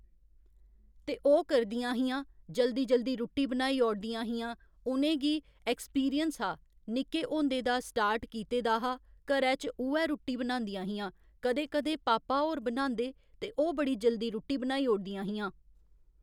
ते ओह् करदियां हियां जल्दी जल्दी रुट्टी बनाई औड़दियां हियां उ'नें गी एक्सपिरिंस हा निक्के होंदे दा स्टार्ट कीते दा हा घरै च उ'ऐ रुट्टी बनांदियां हियां कदें कदें पापा होर बनांदे ते ओह् बड़ी जल्दी रुट्टी बनाई ओड़दियां हियां